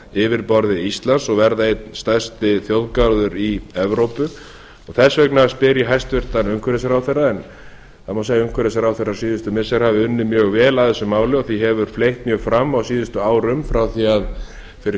yfirborði íslands og verða einn stærsti þjóðgarður í evrópu og þess vegna spyr ég hæstvirtur umhverfisráðherra en það má segja að umhverfisráðherrar síðustu missira hafi unnið mjög vel að þessu máli og því hefur fleytt mjög fram á síðustu árum frá því fyrir